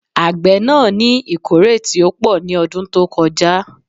Àgbé náà ní ìkórè tí ó pò ní ọdún tó kọ já